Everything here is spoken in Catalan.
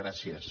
gràcies